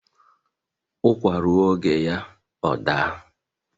ụkwa rụọ oge ya ọ daa